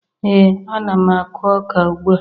Ee, ana m akụ ọka ugbua